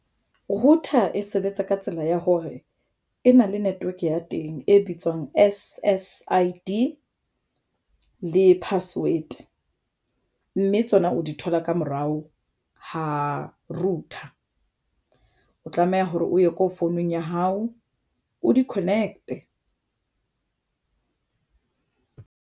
Router e sebetsa ka tsela ya hore e na le network ya teng e bitswang S_S_I_D le password mme tsona o di thola ka morao h a router o tlameha hore o ye ko founung ya hao o di-connect.